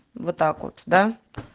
вот так вот да